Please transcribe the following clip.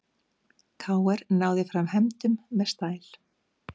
KR náði fram hefndum með stæl